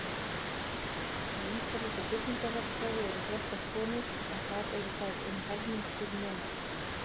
Í umhverfis- og byggingarverkfræði eru flestar konur en þar eru þær um helmingur nemenda.